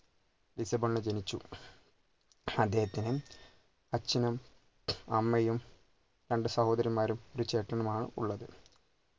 ലിസ്ബണിൽ ജനിച്ചു അദ്ദേഹത്തിന് അച്ഛനും അമ്മയും രണ്ട് സഹോദരിമാരും ഒരു ചേട്ടനുമാണ് ഉള്ളത്